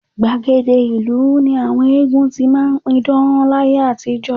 Gbàgede ìlú ni àwọn eégún ti máa ń pidán láyé àtijọ́